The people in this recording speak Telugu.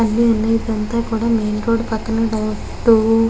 అన్నీ ఉన్నాయి కూడా మెయిన్ రోడ్డు పక్కనే డ్డు --